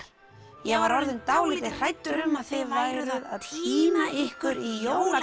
ég var orðinn dálítið hræddur um að þið væruð að týna ykkur í